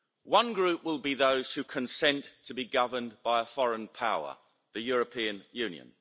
One group will be those who consent to be governed by a foreign power The European Union.